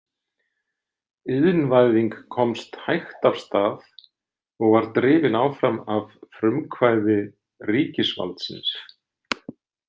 Iðnvæðing komst hægt af stað og var drifin áfram af frumkvæði ríkisvaldsins.